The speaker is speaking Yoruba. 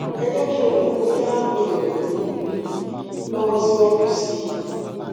ẹ jé kí n mọ bóyá mo lè ràn yín um lọwọ síwájú sí i i